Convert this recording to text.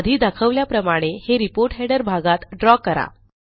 आधी दाखवल्याप्रमाणे हे रिपोर्ट हेडर भागात द्रव करा